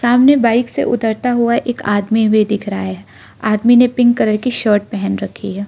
सामने बाइक से उतरता हुआ एक आदमी भी दिख रहा है आदमी ने पिंक कलर की शर्ट पहन रखी है।